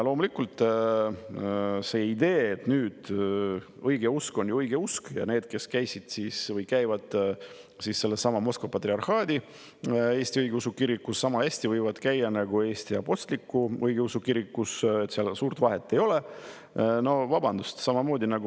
Loomulikult, mis puudutab ideed, et õigeusk on õige usk ja need, kes käisid või käivad sellessamas Moskva Patriarhaadi Eesti Õigeusu Kirikus, võivad sama hästi käia Eesti Apostlik-Õigeusu Kirikus, et seal suurt vahet ei ole, siis no vabandust!